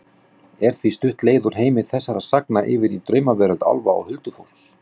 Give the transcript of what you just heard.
Er því stutt leið úr heimi þessara sagna yfir í draumaveröld álfa og huldufólks.